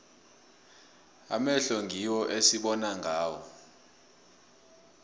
amehlo ngiwo esibona ngawo